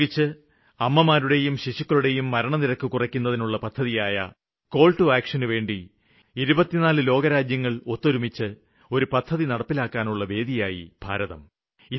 പ്രത്യേകിച്ച് അമ്മമാരുടെയും ശിശുക്കളുടേയും മരണനിരക്ക് കുറയ്ക്കുന്നതിനുള്ള പദ്ധതിയായ കാള് ടു ആക്ഷന്നു വേണ്ടി 24 ലോകരാജ്യങ്ങള് ഒത്തൊരുമിച്ച് പദ്ധതി നടപ്പിലാക്കുവാനുള്ള വേദിയായി ഭാരതം